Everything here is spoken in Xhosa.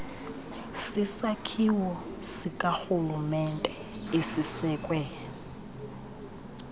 sisakhiwo sikarhulumente esisekwe